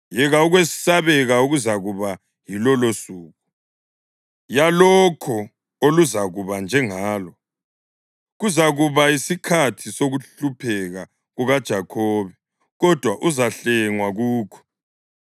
Yeka ukwesabeka okuzakuba yilolosuku! Kalukho oluzakuba njengalo. Kuzakuba yisikhathi sokuhlupheka kukaJakhobe, kodwa uzahlengwa kukho.